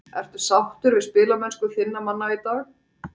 Ertu sáttur við spilamennsku þinna manna í dag?